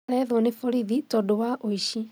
Areethwo nĩ borithi tondũwa ũici